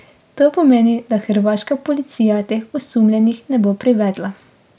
To pomeni, da hrvaška policija teh osumljenih ne bo privedla.